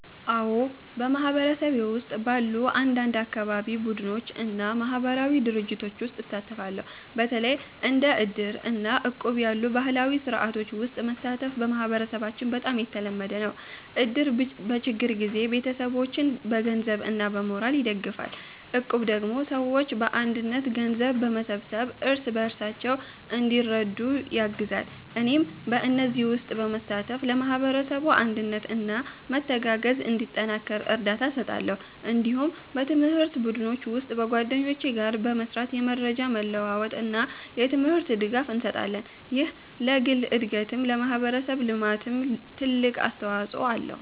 አዎ፣ በማህበረሰቤ ውስጥ ባሉ አንዳንድ የአካባቢ ቡድኖች እና ማህበራዊ ድርጅቶች ውስጥ እሳተፋለሁ። በተለይ እንደ እድር እና እቁብ ያሉ ባህላዊ ስርዓቶች ውስጥ መሳተፍ በማህበረሰባችን በጣም የተለመደ ነው። እድር በችግር ጊዜ ቤተሰቦችን በገንዘብ እና በሞራል ይደግፋል፣ እቁብ ደግሞ ሰዎች በአንድነት ገንዘብ በመሰብሰብ እርስ በርሳቸው እንዲረዱ ያግዛል። እኔም በእነዚህ ውስጥ በመሳተፍ ለማህበረሰቡ አንድነት እና መተጋገዝ እንዲጠናከር እርዳታ እሰጣለሁ። እንዲሁም በትምህርት ቡድኖች ውስጥ በጓደኞቼ ጋር በመስራት የመረጃ መለዋወጥ እና የትምህርት ድጋፍ እንሰጣለን። ይህ ለግል እድገትም ለማህበረሰብ ልማትም ትልቅ አስተዋጽኦ አለው።